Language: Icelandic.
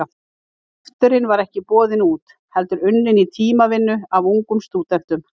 Gröfturinn var ekki boðinn út, heldur unninn í tímavinnu af ungum stúdentum.